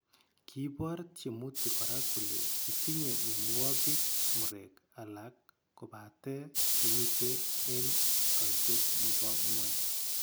Kiibor tyemutik kora kole kitinye mianwogik murek alak kobate kimitei eng' kaitet nbo ng'ony